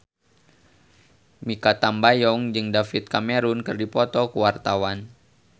Mikha Tambayong jeung David Cameron keur dipoto ku wartawan